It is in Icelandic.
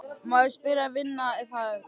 Má ég spyrja hvaða vinna það er?